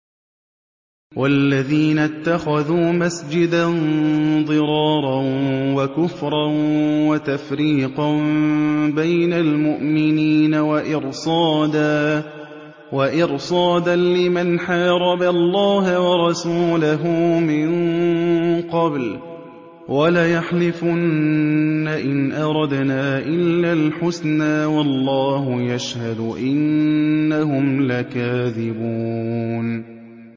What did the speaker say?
وَالَّذِينَ اتَّخَذُوا مَسْجِدًا ضِرَارًا وَكُفْرًا وَتَفْرِيقًا بَيْنَ الْمُؤْمِنِينَ وَإِرْصَادًا لِّمَنْ حَارَبَ اللَّهَ وَرَسُولَهُ مِن قَبْلُ ۚ وَلَيَحْلِفُنَّ إِنْ أَرَدْنَا إِلَّا الْحُسْنَىٰ ۖ وَاللَّهُ يَشْهَدُ إِنَّهُمْ لَكَاذِبُونَ